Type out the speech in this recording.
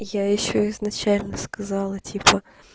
я ещё изначально сказала типа